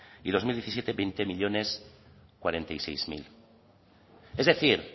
y dos mil diecisiete hogei milioi berrogeita sei mila es decir